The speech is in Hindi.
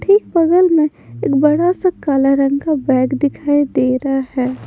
ठीक बगल में एक बड़ा सा काला रंग का बैग दिखाई दे रहा है।